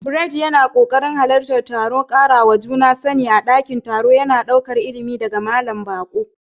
Bright yana ɗokin halartar taron karawa juna sani a ɗakin taro, yana ɗaukar ilimi daga malamin baƙo.